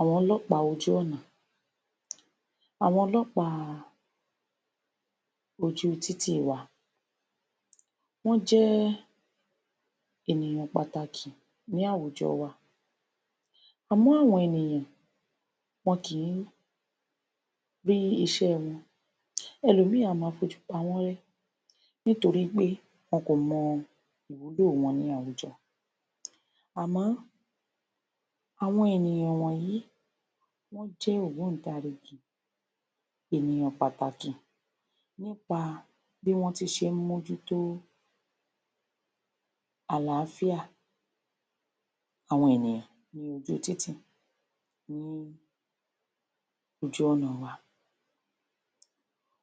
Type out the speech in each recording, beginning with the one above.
Àwọn Ọlọ́pàá ojú ọ̀nà Àwọn ọlọ́pàá ojú títì wa wọ́n jẹ́ ènìyàn pàtàkì ní àwùjọ wa Àmọ́ àwọn ènìyàn wọn kì í rí iṣẹ́ wọn ẹlòmíì máa ń fojú pa wọ́n rẹ́ nítorí pé wọn kò mọ ìwúlò wọn ní àwùjọ àmó àwọn ènìyàn wọ̀nyí wọ́n jẹ́ ògbóǹtarìgì ènìyàn pàtàkì nípa bí wọ́n ti ṣe ń mójútó àláfíà àwọn ènìyàn ní ojú títì ní ojú ọ̀nà wa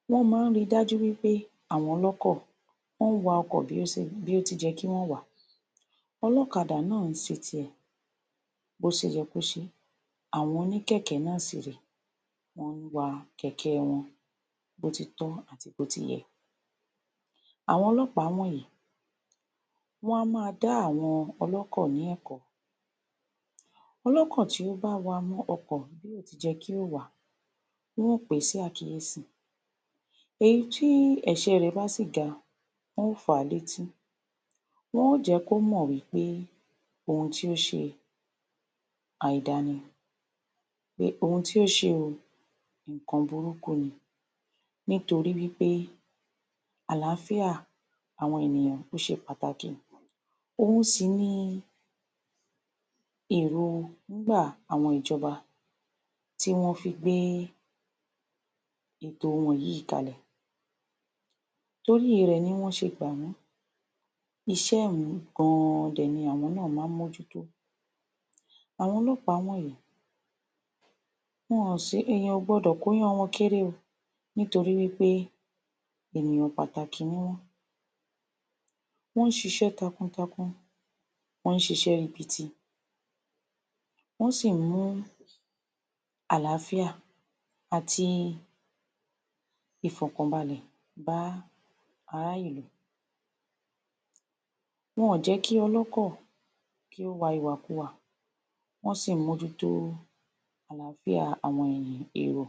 wọ́n máa ń rii dájú pé àwọn ọlọ́kọ̀ wọn wa ọkọ̀ bí ó ti yẹ kí wọ́n wà á, ọlọ́kadà máa ṣe tirẹ̀ bí ó ṣe yẹ kí ó ṣe é àwọn oníkẹ̀kẹ́ náà sì rèé wọ́n wa kẹ̀kẹ́ wọn bí ó ti tọ́ àti bí ó ti yẹ Àwọn ọlọ́pàá wọ̀nyí wọ́n á máa dá àwọn ọlọ́kọ̀ ní ẹ̀kọ́ ọlọ́kọ̀ tó bá wa ọkọ̀ bí kò ti yẹ kí ó wà á wọn o pè é sí àkíyèsi èyi ti ẹ̀ṣẹ̀ rẹ̀ bá sì ga wọn ó fa létí, wọn ó jẹ kí ó mọ̀ wí pé ohun tí ó ṣe àìda ni pé ohun tí ó ṣe o nǹkan burúkú ni nítorí wí pé àláfíà àwọn ènìyàn ó ṣe pàtàkì òun sì ni èròńgbà àwọn ìjọba tí wọ́n fi gbé ètò wọn yìí kalẹ̀ torí rẹ̀ ni wọ́n ṣe gbà mí Iṣẹ́ yìí gan an ni àwọn náà máa ń mójútó Àwọn ọlọ́pàá wọ̀nyí èèyàn kò gbọdọ̀ kọ iyán wọn kéré o nítorí wí pé ènìyàn pàtàkì ni wọ́n wọ́n ń ṣiṣẹ́ takuntakun wọ́n ṣiṣẹ́ ribiti wọ́n sì ń mú àláfíà àti ìfọ̀kànbalẹ̀ bá ará ìlú Wọ́n ò jẹ́ kí ọlọ́kọ̀ ó wa ìwàkuwà wọ́n sì ń mójútó àláfíà àwọn èrò.